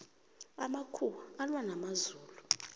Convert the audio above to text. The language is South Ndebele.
amakhuwa alwa namazulu